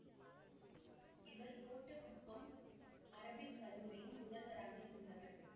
இவர் கோட்டக்குப்பம் அரபிக் கல்லூரியின் முதல்வராக இருந்தவர்